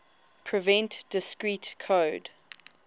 prevent discrete code